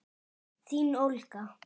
Þín Olga.